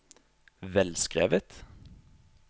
velskrevet